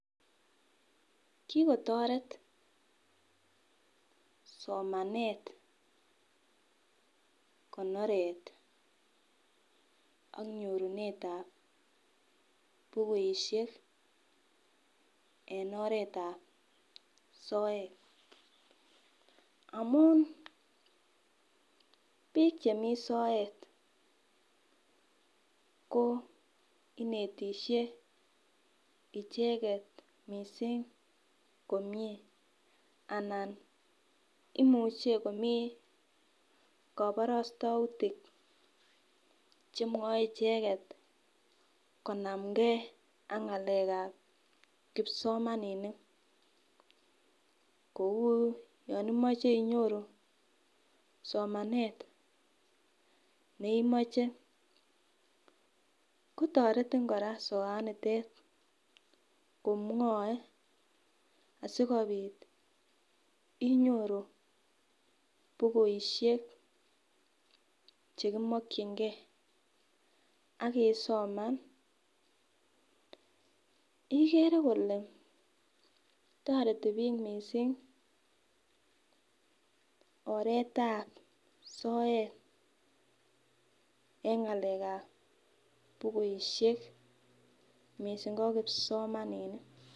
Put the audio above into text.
Kikotoret somanet konoret ak nyorunet ap bukuishek en oret ap soet amun biik chemi soet ko inetishei icheket mising komie anan imuchei komii koborostoutik chemwoe icheket konamkei ak ng'alek ap kipsomaninik kou yon imoche inyoru somanet neimoche kotoretin kora soat nitet komwoe asikobit inyoru bukuishek chekimokchingei akisoman igere kole toreti biik mising oret ap soet eng ng'alek ap bukuishek mising ko kipsomaninik.